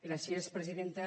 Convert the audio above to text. gràcies presidenta